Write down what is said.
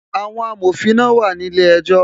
Àwọn amòfin náà wà ní ilé ejọ́